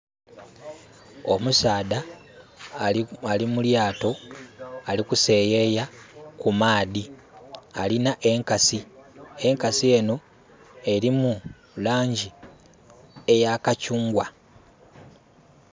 Omusaadha ali mu lyaato ali kuseeyeya ku maadhi. Alina enkasi, enkasi enho elimu laangi eya kakyungwa.